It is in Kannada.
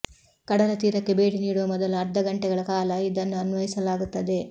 ಕಡಲತೀರಕ್ಕೆ ಭೇಟಿ ನೀಡುವ ಮೊದಲು ಅರ್ಧ ಘಂಟೆಗಳ ಕಾಲ ಇದನ್ನು ಅನ್ವಯಿಸಲಾಗುತ್ತದೆ